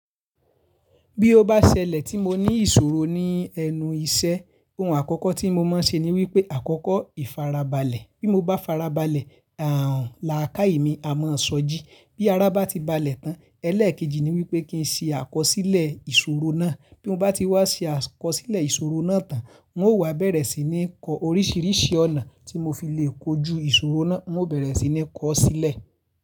Bí ó bá ṣẹlẹ̀ tí mo ní ìṣòro ní ẹnu iṣẹ́, ohun àkọ́kọ́ tí mo máa ṣe ni wípé àkọ́kọ́ ìfarabalẹ̀. Bí mo bá farabalẹ̀, ààrùn làákàyè mi a mọ ṣojú. Bí ara bá ti balẹ̀ tán, ẹlẹ́ẹ̀kejì ni wípé kí ń ṣe àkọsílẹ̀ ìṣòro náà. Bí mo bá ti wá ṣe àkọsílẹ̀ ìṣòro náà tán, n ó wá bẹ̀rẹ̀ sí ní kọ oríṣiríṣi ọ̀nà tí mo fi lè kojú ìṣòro náà, n ó bẹ̀rẹ̀ sí ní kọ ọ́ sílẹ̀.